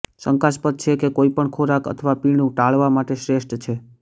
શંકાસ્પદ છે તે કોઈપણ ખોરાક અથવા પીણું ટાળવા માટે શ્રેષ્ઠ છે